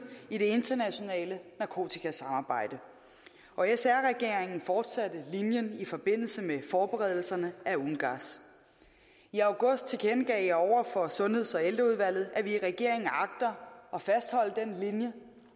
i det internationale narkotikasamarbejde og sr regeringen fortsatte linjen i forbindelse med forberedelserne af ungass i august tilkendegav jeg over for sundheds og ældreudvalget at vi i regeringen agter at fastholde den linje